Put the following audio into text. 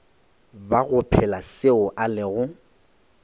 bago phela seo a lego